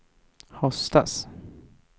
höstas